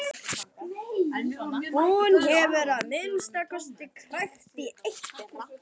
Hún hefur að minnsta kosti krækt í eitt þeirra.